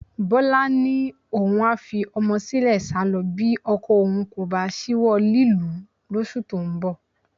Bọ́lá ni òun a fi ọmọ sílẹ̀ sálọ bí ọkọ òun kò bá ṣíwọ́ lílù ú lóṣù tó ń bọ̀